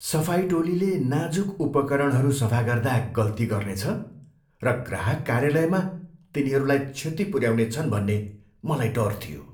सफाई टोलीले नाजुक उपकरणहरू सफा गर्दा गल्ती गर्नेछ र ग्राहक कार्यालयमा तिनीहरूलाई क्षति पुऱ्याउनेछन् भन्ने मलाई डर थियो।